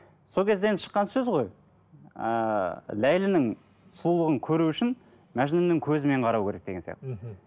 сол кезде енді шыққан сөз ғой ыыы ләйлінің сұлулығын көру үшін мәжнүннің көзімен қарау керек деген сияқты мхм